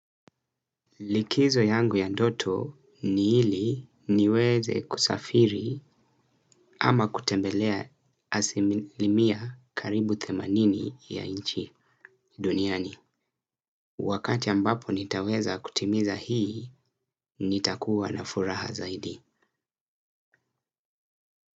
Likizo yangu ya ndoto ni ili niweze kusafiri ama kutembelea asili mia karibu themanini ya nchi duniani. Wakati ambapo nitaweza kutimiza hii, nitakuwa na furaha zaidi.